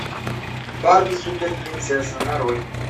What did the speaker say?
барби супер принцесса нарой